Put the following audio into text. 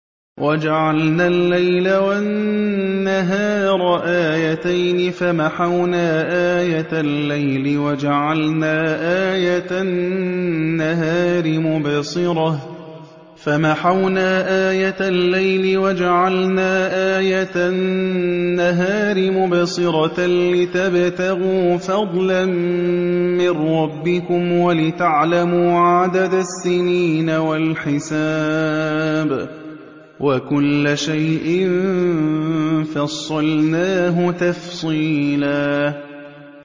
وَجَعَلْنَا اللَّيْلَ وَالنَّهَارَ آيَتَيْنِ ۖ فَمَحَوْنَا آيَةَ اللَّيْلِ وَجَعَلْنَا آيَةَ النَّهَارِ مُبْصِرَةً لِّتَبْتَغُوا فَضْلًا مِّن رَّبِّكُمْ وَلِتَعْلَمُوا عَدَدَ السِّنِينَ وَالْحِسَابَ ۚ وَكُلَّ شَيْءٍ فَصَّلْنَاهُ تَفْصِيلًا